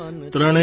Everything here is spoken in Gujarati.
આપણો દેશ મહાન છે